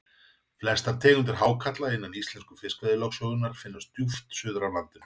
flestar tegundir hákarla innan íslensku fiskveiðilögsögunnar finnast djúpt suður af landinu